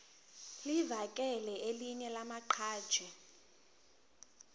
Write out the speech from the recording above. livakele elinye lamaqhaji